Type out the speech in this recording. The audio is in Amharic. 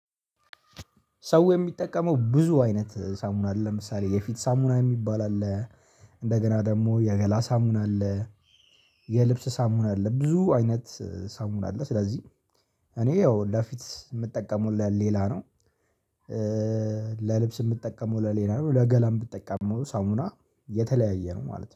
ሰው የሚጠቀመው ብዙ አይነት ሳሙና አለ ለምሳሌ የፊት ሳሙና የሚባል አለ። እንደገና ደግሞ የገላ ሳሙን አለ። የልብስ ሳሙን አለ ብዙ አይነት ሳሙን አለ ስለዚህ። እኔ ያው ለፊት የምጠቀመው ለሌላ ነው። ለልብስ የምጠቀመው ለሌላ ነው ለገላም ምጠቀሙ ሳሙና የተለያየ ነው ማለት ነው